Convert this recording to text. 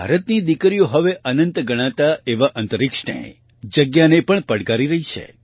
ભારતની દીકરીઓ હવે અનંત ગણાતા એવા અંતરિક્ષને જગ્યાને પણ પડકારી રહી છે